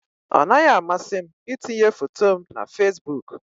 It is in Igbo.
Ọ naghị amasị m itinye foto m na Facebook